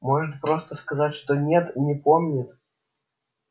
может просто сказать что нет не помнит